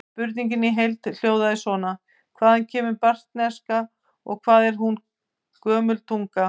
Spurningin í heild hljóðaði svona: Hvaðan kemur baskneska og hvað er hún gömul tunga?